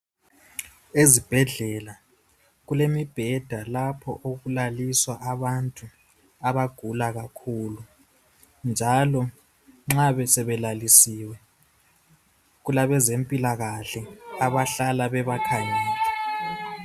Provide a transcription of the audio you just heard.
Ezibhedlela okulemibheda lapho okulaliswa khona abantu njalo nxa sebelalisiwe kulabezimpilakahle abakhangela abantu labo abagulayo.